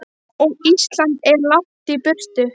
Og Ísland er langt í burtu.